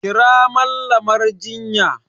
Kira Mallamar jinya!